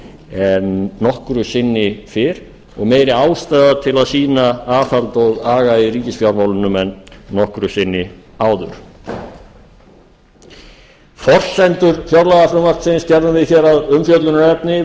en nokkru sinni fyrr og meiri ástæða til að sýna aðhald og aga í ríkisfjármálunum en nokkru sinni áður forsendur fjárlagafrumvarpsins gerðum við að umfjöllunarefni